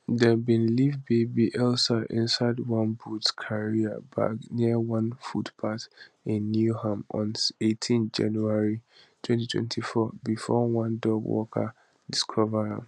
dem bin leave baby elsa inside one boots carrier bag near one footpath in newham on 18 january 2024 bifor one dog walker discover am